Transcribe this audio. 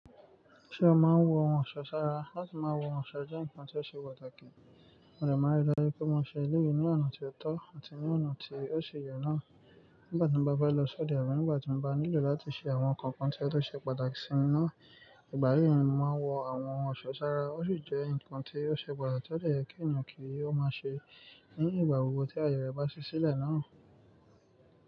Ṣé o máa ń wọ ohun ọ̀ṣọ́ sára? Láti máa wọ ohun ọ̀ṣọ́ jẹ́ nǹkan tó ṣe pàtàkì. Mo dé máa n rí dájú pé mo ṣe eléyìí ní ọ̀nà tó tọ́ àti ní ọ̀nà tí ó ṣe yẹ náà. Nígbà tí mo bá fẹ́ lọ sí òde àbí nígbà tí mo bá nílò láti ṣe àwọn nǹkan kan tí ó ṣe pàtàkì sí mi náà, ìgbà yìí ni mo máa wọ àwọn ohun ọ̀ṣọ́ sára. Ó sì jẹ́ nǹkan tí ó ṣe pàtàkì ti ó dè jẹ́ kí ènìyàn kí ó máa ṣe ní ìgbà gbogbo tí ayẹ re bá ṣí sílẹ̀ náà.